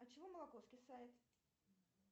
от чего молоко скисает